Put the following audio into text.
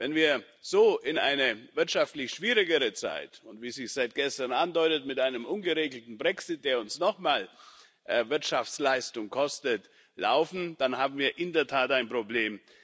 Wenn wir so in eine wirtschaftlich schwierigere Zeit starten, zudem, wie es sich seit gestern andeutet, mit einem ungeregelten Brexit, der uns nochmal Wirtschaftsleistung kostet, dann haben wir in der Tat ein Problem.